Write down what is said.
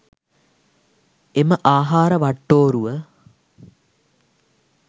එම ආහාර වට්ටෝරුව